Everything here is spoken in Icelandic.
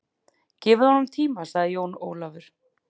Gefið honum tíma, sagði Jón Ólafur.